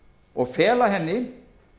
og fela henni